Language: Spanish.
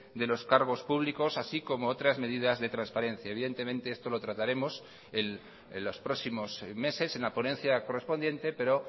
de los cargos públicos así como otras medidas de transparencia evidentemente esto lo trataremos en los próximos meses en la ponencia correspondiente pero